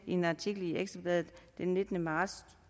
en artikel i ekstra bladet den nittende marts